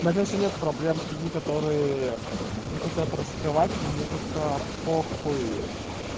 надеюсь что нет проблем с людьми которые не хотят раскрывать мне как то по хуй